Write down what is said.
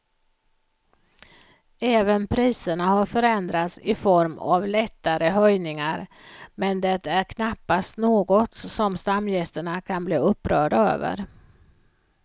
Även priserna har förändrats i form av lättare höjningar men det är knappast något som stamgästerna kan bli upprörda över.